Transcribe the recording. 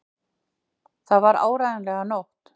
Það var áreiðanlega nótt.